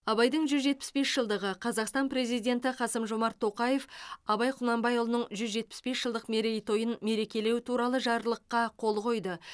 абайдың жүз жетпіс бес жылдығы қазақстан президенті қасым жомарт тоқаев абай құнанбайұлының жүз жетпіс бес жылдық мерейтойын мерекелеу туралы жарлыққа қол қойды